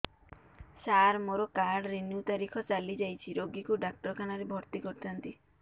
ସାର ମୋର card renew ତାରିଖ ଚାଲି ଯାଇଛି ରୋଗୀକୁ ଡାକ୍ତରଖାନା ରେ ଭର୍ତି କରିଥାନ୍ତି